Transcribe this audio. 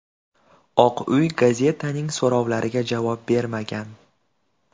Oq uy gazetaning so‘rovlariga javob bermagan.